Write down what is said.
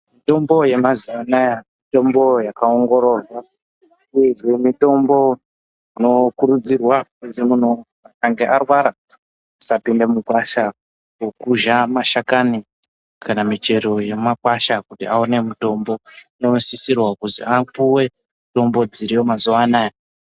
Mitombo yamazuva anaya mitombo yakaongororwa uyezve mitombo inokurudzirwa kunzi muntu akange arwara asapinde mugwasha kokuzha mashakani kana michero yemakwasha kuti aone mutombo. Anosisirwa kuzi apuve mitombo dziriyo mazuva anaya.